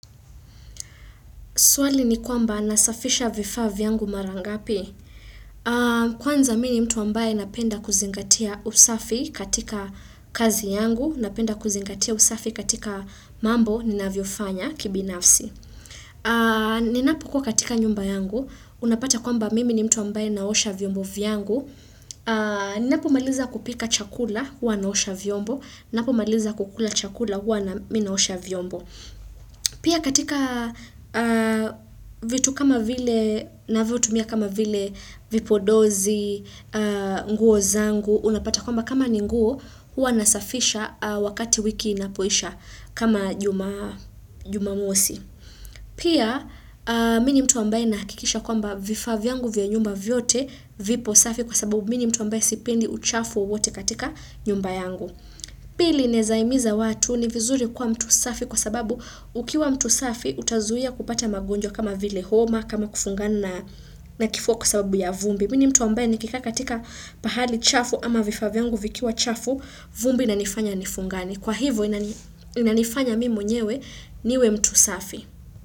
Swali ni kwamba nasafisha vifa vyangu marangapi. Kwanza mimi mtu ambaye napenda kuzingatia usafi katika kazi yangu, napenda kuzingatia usafi katika mambo ninavyo fanya kibinafsi. Ninapo kuwa katika nyumba yangu, unapata kwamba mimi ni mtu ambaye naosha vyombo vyangu. Ninapo maliza kupika chakula, wanaosha vyombo. Ninapo maliza kukula chakula, wanaosha vyombo. Pia katika vitu kama vile na vio tumia kama vile vipodozi, nguo zangu, unapata kwamba kama ninguo, hua nasafisha wakati wiki inapoisha kama jumamosi. Pia mini mtu ambaye nakikisha kwamba vifa vyangu vya nyumba vyote vipo safi kwa sababu mini mtu ambaye sipendi uchafu wote katika nyumba yangu. Pili nezaimiza watu ni vizuri kwa mtu safi kwa sababu ukiwa mtu safi utazuia kupata magonjwa kama vile homa kama kufungana na kifuwa kwa sababu ya vumbi Mini mtu ambaye nikika katika pahali chafu ama vifa vyangu vikiwa chafu vumbi inanifanya nifungani Kwa hivo inanifanya mimi mwenyewe niwe mtu safi.